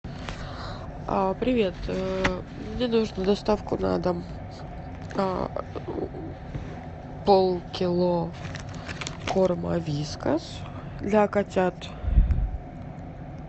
привет мне нужно доставку на дом полкило корма вискас для котят